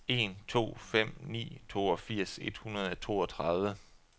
en to fem ni toogfirs et hundrede og toogtredive